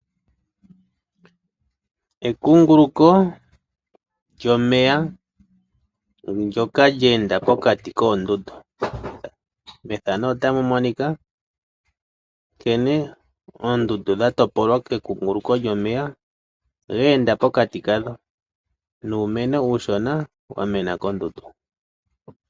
Ekunguluko lyomeya ndyoka lye enda pokati koondundu. Methano ota mu monika nkene oondundu dha topolwa ke kunguluko lyomeya ge enda pokati kadho nuumeno uushona wa mena kondundu.